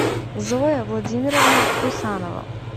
зоя владимировна крусанова